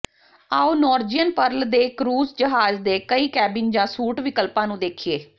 ਆਓ Norwegian Pearl ਦੇ cruise ਜਹਾਜ਼ ਦੇ ਕਈ ਕੈਬਿਨ ਜਾਂ ਸੂਟ ਵਿਕਲਪਾਂ ਨੂੰ ਦੇਖੀਏ